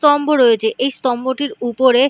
স্তম্ভ রয়েছে। এই স্তম্ভটির উপরে--